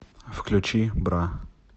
включи бра